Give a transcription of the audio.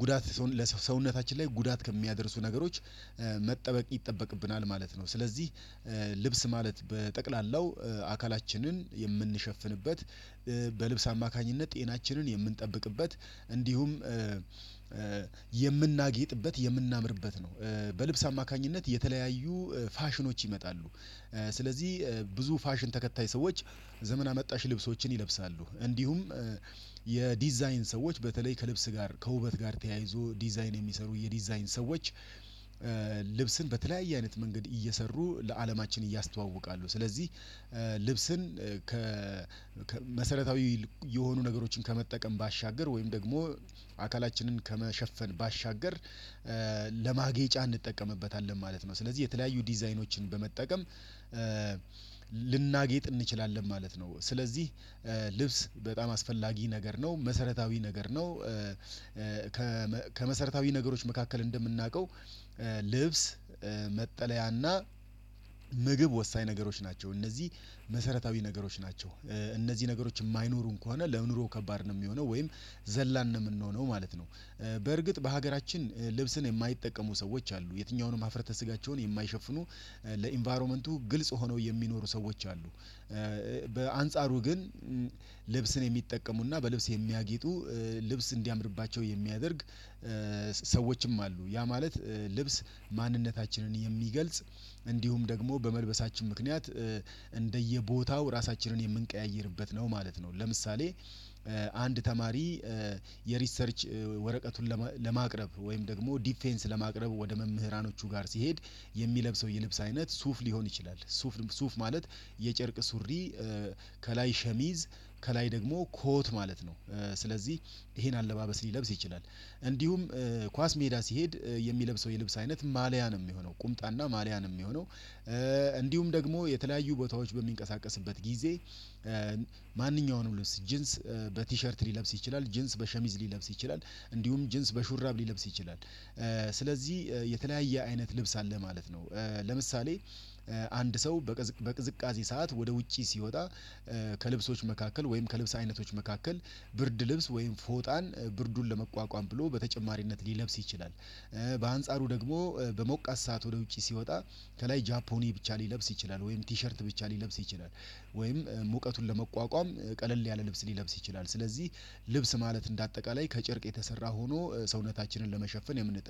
ጉዳት ለሰውነታችን ላይ ጉዳት ከሚያደርሱ ነገሮች መጠበቅ ይጠበቅብናል ማለት ነው። ስለዚህ ልብስ ማለት በጠቅላላው አካላችንን የምንሸፍንበት በልብስ አማካኝነት ጤናችንን የምንጠብቅበት እንዲሁም የምናጌጥበት የምናምርበት ነው። በልብስ አማካኝነት የተለያዩ ፋሽኖች ይመጣሉ። ስለዚህ ብዙ ፋሽን ተከታይ ሰዎች ዘመናጠን አመጣሽ ልብሶችን ይለብሳሉ። እንዲሁም የዲዛይን ሰዎች በተለይ ከልብስ ጋር ከውበት ጋር ተያይዞ ዲዛይን የሚሰሩ የዲዛይን ሰዎች ልብስን በተለያየ አይነት መንገድ እየሰሩ ለአለማችን ያስተዋወቃሉ። ስለዚህ ልብስን ከመሰረታዊ የሆኑ ነገሮችን ከመጠቀም ባሻገር ወይም ደግሞ አካላችንን ከመሸፈን ባሻገር ለማጌጫ እንጠቀምበታለን ማለት ነው። ስለዚህ የተለያዩ ዲዛይኖችን በመጠቀም ልናጌጥ እንችላለን ማለት ነው። ስለዚህ ልብስ በጣም አስፈላጊ ነገር ነው መሰረታዊ ነገር ነው። ከመሰረታዊ ነገሮች መካከል እንደምናውቀው ልብስ መጠለያና ምግብ ወሳኝ ነገሮች ናቸው። እነዚህ መሰረታዊ ነገሮች ናቸው። እነዚህ ነገሮች የማይኖሩን ከሆነ ለኑሮ ከባድ ነው የሚሆነው ወይም ዘላን ነው የምንሆነው ማለት ነው። በርግጥ በሀገራችን ልብስን የማይጠቀሙ ሰዎች አሉ የትኛውንም ማፍረተ ስጋቸውን የማይሸፍኑ ለኢንቫይሮመንቱ ግልጽ ሆነው የሚኖሩ ሰዎች አሉ። በአንጻሩ ግን ልብስን የሚጠቀሙና በልብስ የሚያጊጡ ልብስ እንዲያምርባቸው የሚያደርግ ሰዎችም አሉ ያ ማለት ልብስ ማንነታችንን የሚገልጽ እንዲሁም ደግሞ በመልበሳችን ምክንያት እንደየቦታው እራሳችንን የምንቀያይርበት ነው ማለት ነው። ለምሳሌ አንድ ተማሪ የሪሰርች ወረቀቱን ለማቅረብ ወይም ደግሞ ዲፌንስ ለማቅረብ ወደ መምህራኖቹ ጋር ሲሄድ የሚለብሰው የልብስ አይነት ሱፍ ሊሆን ይችላል። ሱፍ ሱፍ ማለት የጨርቅ ሱሪ ከላይ ሸሚዝ ከላይ ደግሞ ኮት ማለት ነው። ስለዚህ ይሄን አለባበስ ሊለብስ ይችላል። እንዲሁም ኳስ ሜዳ ሲሄድ የሚለብሰው የልብስ አይነት ማልያ ነው የሚሆነው ቁምጣና ማልያ ነው የሚሆነው። እንዲሁም ደግሞ የተለያዩ ቦታዎች በሚንቀሳቀስበት ጊዜ ማንኛውንም ሁሉስ ጂንስ በቲሸርት ሊለብስ ይችላል። ጅንስ በሸሚዝ ሊለብስ ይችላል። እንዲሁም ጅንስ በሹራብ ሊለብስ ይችላል። ስለዚህ የተለያየ አይነት ልብስ አለ ማለት ነው። ለምሳሌ አንድ ሰው በቅዝቃዜ ሰዓት ወደ ውጪ ሲወጣ ከልብሶች መካከል ወይም ከልብስ አይነቶች መካከል ብርድ ልብስ ወይም ፎጣን ብርዱን ለመቋቋም ብሎ በተጨማሪነት ሊለብስ ይችላል። በአንጻሩ ደግሞ በሞቀስጠት ሰዓት ወደ ውጪ ሲወጣ ከላይ ጃፖኒ ብቻ ሊለብስ ይችላል ወይም ቲሸርት ብቻ ሊለብስ ይችላል። ወይም ሙቀቱን ለመቋቋም ቀለል ያለ ልብስ ሊለብስ ይችላል። ስለዚህ ልብስ ማለት እንደ አጠቃላይ ከጨርቅ የተሰራ ሆኖ ሰውነታችንን ለመሸፈን የምን